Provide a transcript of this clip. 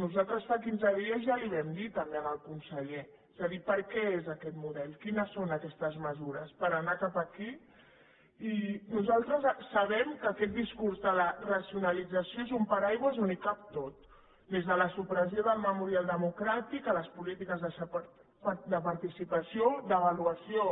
nosaltres fa quinze dies ja li ho vam dir també al conseller és a dir per què és aquest model quines són aquestes mesures per anar cap aquí i nosaltres sabem que aquest discurs de la racionalització és un paraigua on hi cap tot des de la supressió del memorial democràtic a les polítiques de participació d’avaluació